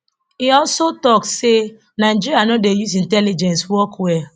e also tok say nigeria no dey use intelligence work well